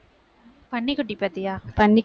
பன்னிக்குட்டி பார்த்தியா?